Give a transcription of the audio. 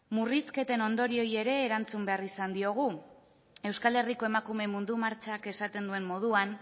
murrizketen ondorioei ere erantzun izan behar diogu euskal herriko emakume mundu martxak esaten duen moduan